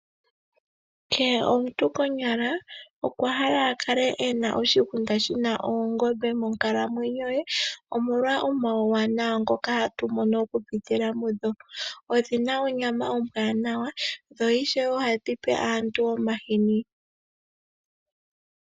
Kehe omuntu konyala okwahala akale ena oshigunda shina oongombe monkalamwenyo ye, omolwa omauwanawa ngoka hatu mono kupitila mudho. Odhina onyama ombwanawa dho ishewe ohadhi pe aantu omahini.